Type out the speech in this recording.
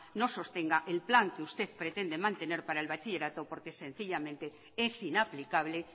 no sostenga el plan que usted pretende mantener para el bachillerato porque sencillamente es inaplicable